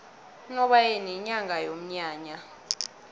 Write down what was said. unobayeni yinyanga yomnyanya